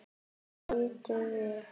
Þeir litu við.